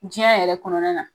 Jiɲɛ yɛrɛ kɔnɔna na